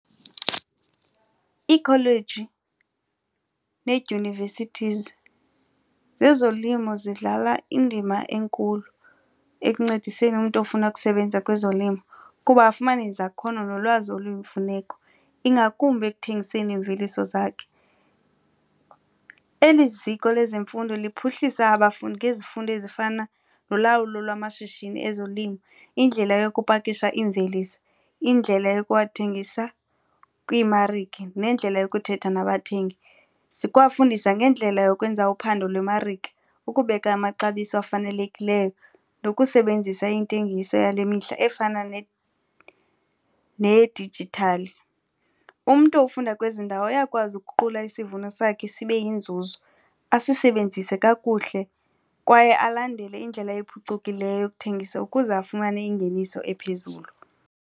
Iikholeji needyunivesithizi zezolimo zidlala indima enkulu ekuncediseni umntu ofuna ukusebenza kwezolimo kuba afumane izakhono nolwazi oluyimfuneko ingakumbi ekuthengiseni iimveliso zakhe. Eli ziko lezemfundo liphuhlisa abafundi ngezifundo ezifana nolawulo lwamashishini ezolimo, indlela yokupakisha iimveliso, indlela yokuwathengisa kwiimarike nendlela yokuthetha nabathengi. Zikwafundisa ngendlela yokwenza uphando lwemarike ukubeka amaxabiso afanelekileyo nokusebenzisa intengiso yale mihla efana nedijithali. Umntu ofunda kwezi ndawo uyakwazi ukuguqula isivuno sakhe sibe yinzuzo asisebenzise kakuhle kwaye alandele indlela ephucukileyo yokuthengisa ukuze afumane ingeniso ephezulu.